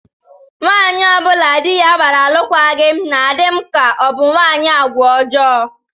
Nwaanyị ọ bụla di ya gbara alụkwaghị m na-adị m ka ọ bụ nwaanyị agwa ọjọọ